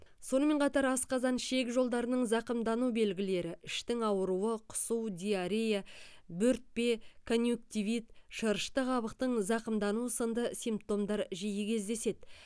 сонымен қатар асқазан ішек жолдарының зақымдану белгілері іштің ауыруы құсу диарея бөртпе конъюнктивит шырышты қабықтың зақымдануы сынды симптомдар жиі кездеседі